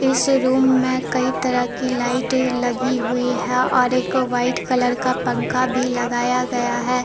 इस रूम में कई तरह की लाइटें लगी हुई हैं और एक व्हाइट कलर का पंखा भी लगाया गया है।